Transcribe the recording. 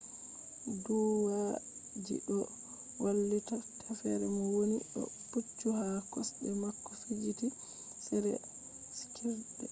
duuwalji doo wallita teffere mo wooni doo pucchu haa kosde maako jiffitii sera kirke